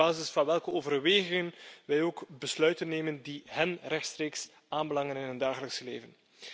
Ze weten op basis van welke overwegingen wij ook besluiten nemen die hen rechtstreeks aanbelangen in hun dagelijkse leven.